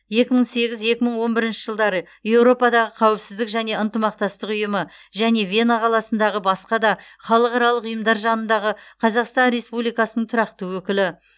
екі мың сегіз екі мың он бірінші жылдары еуропадағы қауіпсіздік және ынтымақтастық ұйымы және вена қаласындағы басқа да халықаралық ұйымдар жанындағы қазақстан республикасының тұрақты өкілі